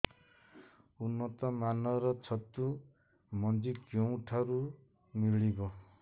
ଉନ୍ନତ ମାନର ଛତୁ ମଞ୍ଜି କେଉଁ ଠାରୁ ମିଳିବ